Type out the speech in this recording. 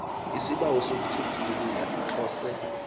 isibawo sokutjhugulula iclose